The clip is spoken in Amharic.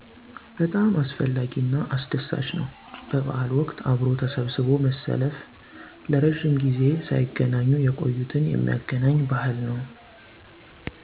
በጣም አስፈላጊ እና አስደሳች ነው በበዓል ወቅት አብሮ ተሰብስቦ መሰለፍ ረጅም ጊዜ ሰይገነኙ የቆዩትን የሚያገናኝ ባህል ነው